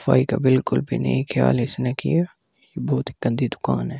सफाई का बिलकुल भी नहीं ख्याल इसने किया बहुत ही गंदी दुकान है।